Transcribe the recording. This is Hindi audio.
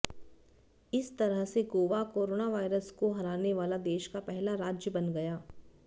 इस तरह से गोवा कोरोनावायरस को हराने वाला देश का पहला राज्य बन गया